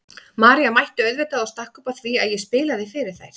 María mætti auðvitað og stakk upp á því að ég spilaði fyrir þær.